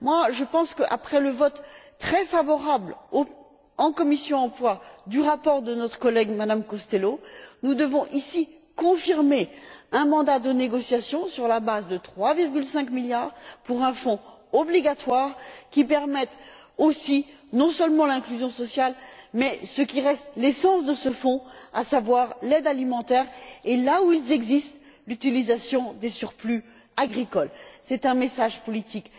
Je pense qu'après le vote, très favorable, au sein de la commission de l'emploi et des affaires sociales, sur le rapport de notre collègue, Mme Costello, nous devons, ici, confirmer un mandat de négociation sur la base de 3,5 milliards d'euros pour un fonds obligatoire qui permette non seulement l'inclusion sociale mais aussi ce qui reste l'essence de ce fonds, à savoir l'aide alimentaire et, là où ils existent, l'utilisation des surplus agricoles. C'est un message politique